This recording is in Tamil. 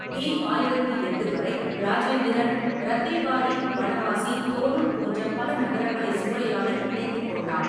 பி. ஆயிரத்து எட்டு வரை, இராஜேந்திரன் ரத்தேபாடி, பனவாசி, தோனூர் போன்ற பல நகரங்களை சூறையாடி இணைத்துக் கொண்டான்.